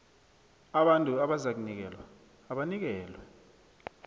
abantu abazakunikelwa abanikelwe